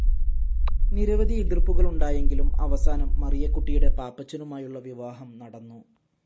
നിരവധി എതിർ‌പ്പുകളുണ്ടായെങ്കിലും അവസാനം മറിയക്കുട്ടിയുടെ പാപ്പച്ചനുമായുളള വിവാഹം നടന്നു.